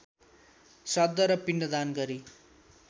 श्राद्ध र पिण्डदान गरी